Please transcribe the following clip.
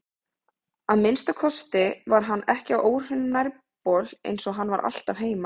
Að minnsta kosti var hann ekki á óhreinum nærbol eins og hann var alltaf heima.